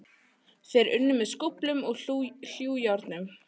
Þeir unnu með skóflum og hlújárnum